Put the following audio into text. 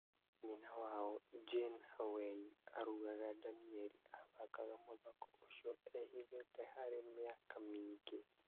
Nyina wao, Jane Hawei, arauga Danieri athakaga mũthako ũcio e-hithĩte harĩ mĩaka mĩingĩ.